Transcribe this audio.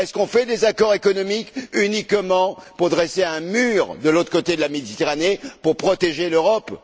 Fait on des accords économiques uniquement pour dresser un mur de l'autre côté de la Méditerranée pour protéger l'Europe?